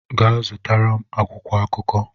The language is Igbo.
Gaa zụtara m akwụkwọ akụkọ!